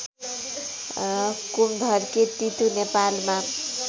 कुमधर्के तितु नेपालमा